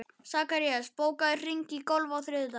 Sakarías, bókaðu hring í golf á þriðjudaginn.